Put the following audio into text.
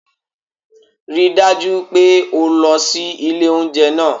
Rí i dájú pé o lọ sí ilé oúnjẹ náà